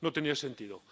no tenía sentido.